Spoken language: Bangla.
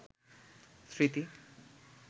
স্মৃতি